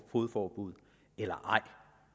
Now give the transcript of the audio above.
fogedforbud eller ej